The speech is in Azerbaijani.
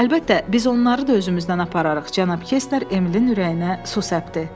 Əlbəttə, biz onları da özümüzdən apararıq, cənab Kestner Emilin ürəyinə su səpdi.